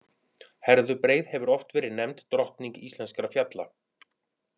Herðubreið hefur oft verið nefnd drottning íslenskra fjalla.